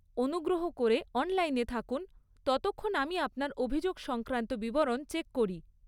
অনুগ্রহ করে অনলাইনে থাকুন ততক্ষণ আমি আপনার অভিযোগ সংক্রান্ত বিবরণ চেক করি।